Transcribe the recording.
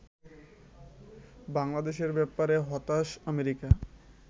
বাংলাদেশের ব্যাপারে হতাশ আমেরিকা